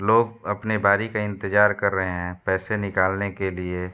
लोग अपने बारी का इंतजार कर रहे हैं पैसे निकालने के लिए।